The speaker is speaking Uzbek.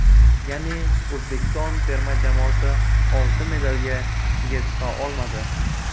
Ya’ni, O‘zbekiston terma jamoasi oltin medalga ega chiqa olmadi.